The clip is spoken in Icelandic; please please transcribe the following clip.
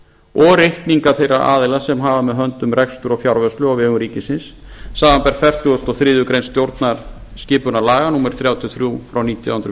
og reikninga fyrir aðila sem hafa með höndum rekstur og fjárvörslu á vegum ríkisins samanber fertugustu og þriðju grein stjórnarskipunarlaga númer þrjátíu og þrjú frá nítján hundruð